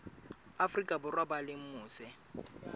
afrika borwa ba leng mose